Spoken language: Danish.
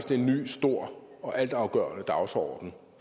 det er en ny stor og altafgørende dagsorden